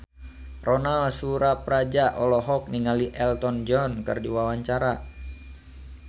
Ronal Surapradja olohok ningali Elton John keur diwawancara